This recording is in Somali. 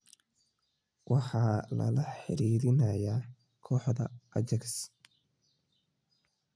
Waxaa lala xiriirinayaa kooxda Ajax.